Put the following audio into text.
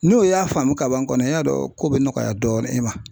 N'o y'a faamu kaban kɔnɔ i y'a dɔn ko be nɔgɔya dɔɔni i ma.